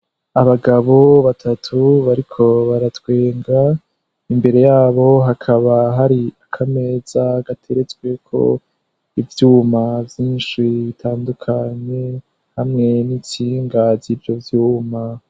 Abagabo batatu bariko baratwenga imbere yabo hakaba hari ako ameza gateretsweko ivyuma vyinshi bitandukanye hamwe n'icingazirjo vyuma.